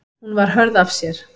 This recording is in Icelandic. Hún var hörð af sér.